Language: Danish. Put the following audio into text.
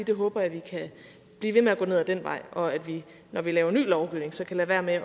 jeg håber vi kan blive ved med at gå ned ad den vej og at vi når vi laver ny lovgivning kan lade være med at